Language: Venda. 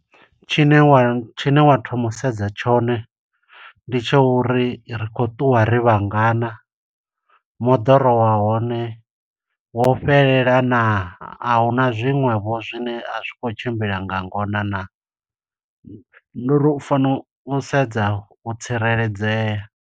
Tshine wa, tshine wa thoma u sedza tshone ndi tsha uri ri kho ṱuwa ri vhangana, moḓoro wa hone wo fhelelana naa, a hu na zwiṅwevho zwine a zwi khou tshimbila nga ngona naa. Ndi uri u fanela u sedza u tsireledzea.